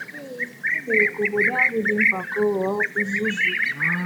Ee, e mere ka obodo ahụ dị mpako ghọọ uzuzu.